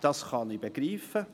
Dies kann ich begreifen.